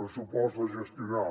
pressupost a gestionar